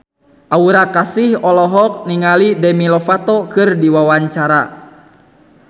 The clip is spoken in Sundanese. Aura Kasih olohok ningali Demi Lovato keur diwawancara